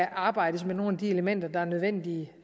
arbejdes med nogle af de elementer der er nødvendige